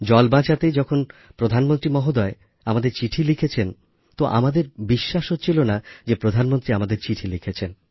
জল বাঁচাতে যখন প্রধানমন্ত্রী মহোদয় আমাদের চিঠি লিখেছেন তো আমাদের বিশ্বাস হচ্ছিল না যে প্রধানমন্ত্রী আমাদের চিঠি লিখেছেন